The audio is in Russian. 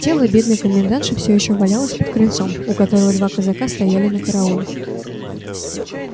тело бедной комендантши все ещё валялось под крыльцом у которого два казака стояли на карауле